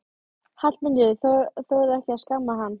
Hallmundur þorir ekki að skamma hann.